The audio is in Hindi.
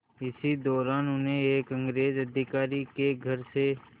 इसी दौरान उन्हें एक अंग्रेज़ अधिकारी के घर से